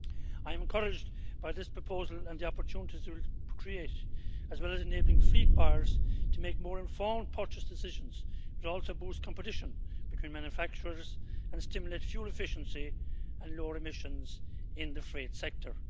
I am encouraged by this proposal and the opportunities it will create, as well as enabling fleet buyers to make more informed purchase decisions in order to boost competition between manufacturers and stimulate fuel efficiency and lower emissions in the freight sector.